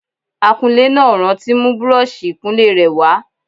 Akunlé náà ò rántí mú búrọ́ọ̀ṣì ìkunlé rẹ̀ wá